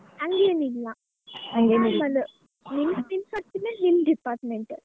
ಹಂಗೇನಿಲ್ಲ normal ನಿಮ್ಮ್ ನಿಮ್ಮ್ department .